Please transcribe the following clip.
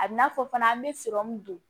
A bɛ n'a fɔ fana an bɛ don